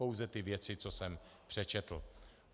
Pouze ty věci, co jsem přečetl.